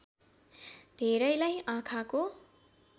धेरैलाई आँखाको